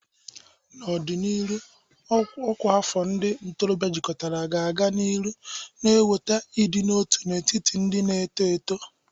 N'ọdịnihu, ọkwa afọ ndị ntorobịa jikọtara ga-aga n'ihu na-eweta ịdị n'otu n'etiti ndị na-eto eto.